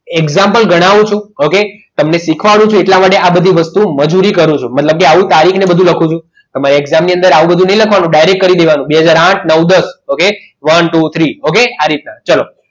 Example ગણાવું છું okay તમને શીખવાડું છું એટલા માટે આ બધી મજૂરી કરું છું મતલબ કે આવી રીતે બધું લખું છું તમે exam ની અંદર આવું બધું નહીં લખવાનું direct કરી દેવાનુંબે હાજર અઆથ નવ દસ okay one two three okay આ રીતના